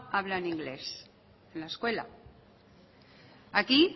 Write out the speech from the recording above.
hablan inglés en la escuela aquí